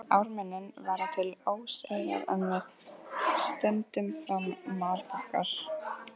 Við ármynnin verða til óseyrar en með ströndum fram marbakkar.